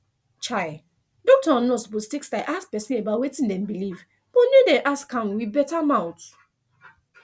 um doctor and nurse suppose take style ask person about wetin dem believe but make dem ask am with better mouth